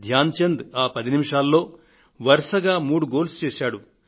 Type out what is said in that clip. ధ్యాన్ చంద్ ఆ పది నిమిషాల్లో వరుసగా మూడు గోల్స్ చేశారు